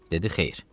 Dedi: Xeyr.